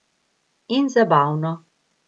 In zabavno.